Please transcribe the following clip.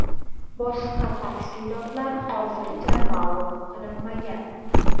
Boshqa tafsilotlar hozircha ma’lum qilinmagan.